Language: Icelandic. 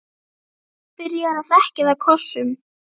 Byrjar að þekja það kossum.